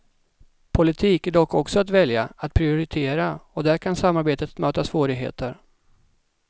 Politik är dock också att välja, att prioritera och där kan samarbetet möta svårigheter.